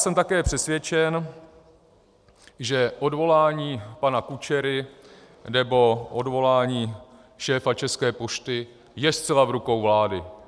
Jsem také přesvědčen, že odvolání pana Kučery nebo odvolání šéfa České pošty je zcela v rukou vlády.